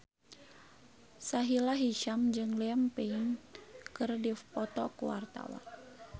Sahila Hisyam jeung Liam Payne keur dipoto ku wartawan